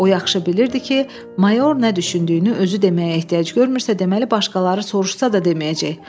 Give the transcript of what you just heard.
O yaxşı bilirdi ki, mayor nə düşündüyünü özü deməyə ehtiyac görmürsə, deməli başqaları soruşsa da deməyəcək.